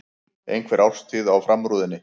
Einhver árstíð á framrúðunni.